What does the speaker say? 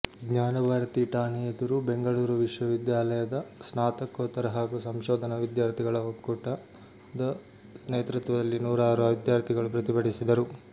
ಜ್ಞಾನಭಾರತಿ ಠಾಣೆ ಎದುರು ಬೆಂಗಳೂರು ವಿಶ್ವವಿದ್ಯಾಲಯದ ಸ್ನಾತಕೋತ್ತರ ಹಾಗೂ ಸಂಶೋಧನಾ ವಿದ್ಯಾರ್ಥಿಗಳ ಒಕ್ಕೂಟದ ನೇತೃತ್ವದಲ್ಲಿ ನೂರಾರು ವಿದ್ಯಾರ್ಥಿಗಳು ಪ್ರತಿಭಟಿಸಿದರು